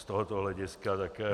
Z tohoto hlediska také -